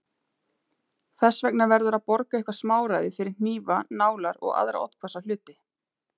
Þess vegna verður að borga eitthvert smáræði fyrir hnífa, nálar og aðra oddhvassa hluti.